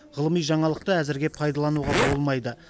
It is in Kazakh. ғылыми жаңалықты әзірге пайдалануға болмайды